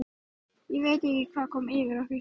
Ég veit ekki hvað kom yfir okkur.